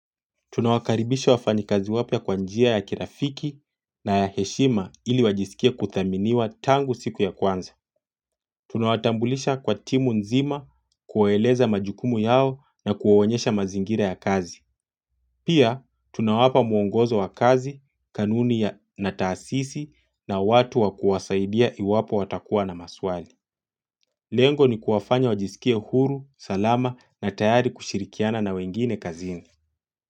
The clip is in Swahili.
Tunawakaribisha wafanyikazi wapya kwa njia ya kirafiki na ya heshima ili wajisikie kudhaminiwa tangu siku ya kwanza. Tunawatambulisha kwa timu nzima kuwaeleza majukumu yao na kuwaonyesha mazingira ya kazi. Pia, tunawapa mwongozo wa kazi, kanuni na taasisi na watu wakuwasaidia iwapo watakuwa na maswali. Lengo ni kuwafanya wajisikie huru, salama na tayari kushirikiana na wengine kazini.